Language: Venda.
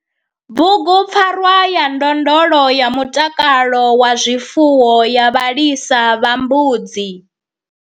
Bugu PFARWA YA NDONDOLO YA MUTAKALO WA ZWIFUWO YA VHALISA VHA MBUDZI.